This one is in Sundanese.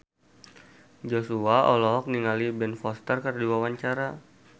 Joshua olohok ningali Ben Foster keur diwawancara